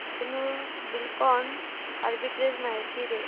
Dhenu Buildcon arbitrage माहिती दे